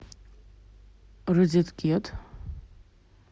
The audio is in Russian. розеткед